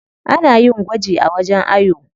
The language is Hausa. Ana yin gwaji a wajen ayo.